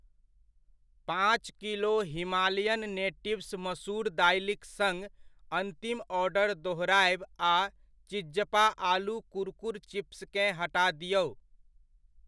पांँच kilo Himalayan natives मसूर दालिक सङ्ग अन्तिम ऑर्डर दोहरायब आ चिज़्ज़पा आलू कुरकुर चिप्सकेँ हटा दिऔ।